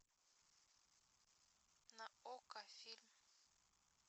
на окко фильм